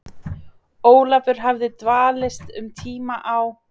Ólafur hafði dvalist um tíma á